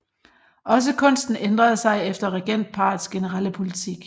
Også kunsten ændrede sig efter regentparrets generelle politik